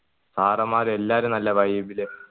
sir മാർ എല്ലാരും നല്ല vibe ല്